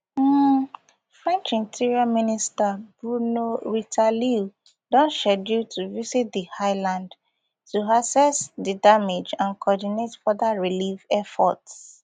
um french interior minister bruno retailleau don scheduled to visit di island to assess di damage and coordinate further relief efforts